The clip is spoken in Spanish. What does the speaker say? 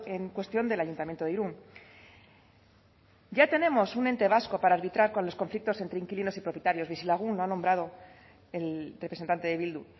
en cuestión del ayuntamiento de irún ya tenemos un ente vasco para arbitrar con los conflictos entre inquilinos y propietarios bizilagun ha nombrado el representante de bildu